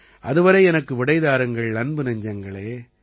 அது வரை எனக்கு விடை தாருங்கள் அன்பு நெஞ்சங்களே